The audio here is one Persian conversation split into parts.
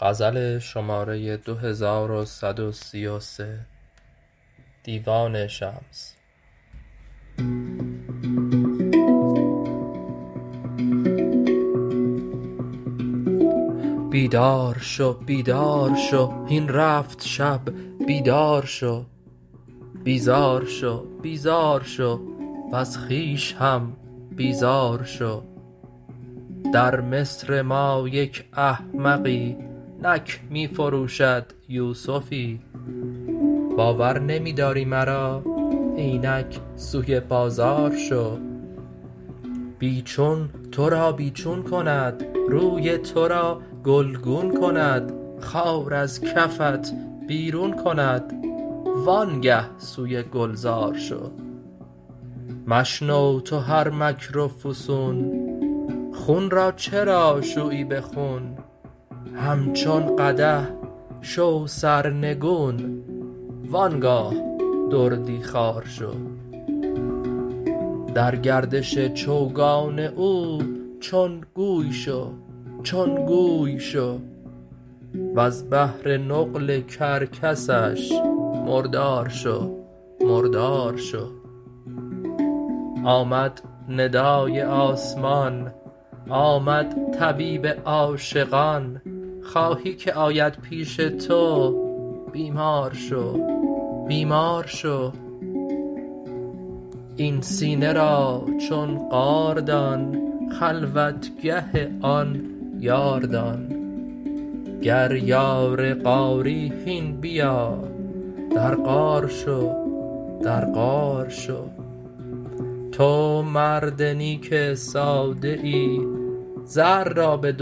بیدار شو بیدار شو هین رفت شب بیدار شو بیزار شو بیزار شو وز خویش هم بیزار شو در مصر ما یک احمقی نک می فروشد یوسفی باور نمی داری مرا اینک سوی بازار شو بی چون تو را بی چون کند روی تو را گلگون کند خار از کفت بیرون کند وآنگه سوی گلزار شو مشنو تو هر مکر و فسون خون را چرا شویی به خون همچون قدح شو سرنگون و آن گاه دردی خوار شو در گردش چوگان او چون گوی شو چون گوی شو وز بهر نقل کرکسش مردار شو مردار شو آمد ندای آسمان آمد طبیب عاشقان خواهی که آید پیش تو بیمار شو بیمار شو این سینه را چون غار دان خلوتگه آن یار دان گر یار غاری هین بیا در غار شو در غار شو تو مرد نیک ساده ای زر را به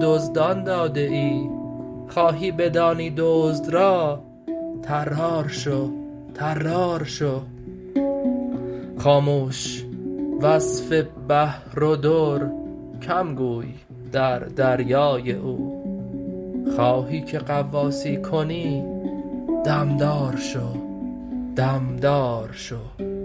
دزدان داده ای خواهی بدانی دزد را طرار شو طرار شو خاموش وصف بحر و در کم گوی در دریای او خواهی که غواصی کنی دم دار شو دم دار شو